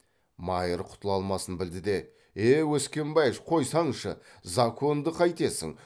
майыр құтыла алмасын білді де е өскенбайыш қойсаңшы законды қайтесің